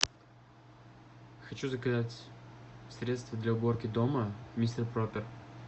хочу заказать средство для уборки дома мистер пропер